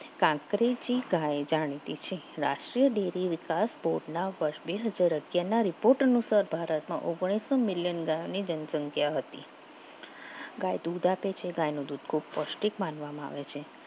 કાકરેથી ગાય થી રાષ્ટ્રીય ડેરી વિકાસ બોર્ડના અત્યારના રિપોર્ટનું ભારતમાં ઓગણીસો મિલિયન ગાયની જનસંખ્યા હતી ગાય દૂધ આપે છે ગાયનું દૂધ પૌષ્ટિક માનવામાં આવે છે